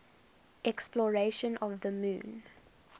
exploration of the moon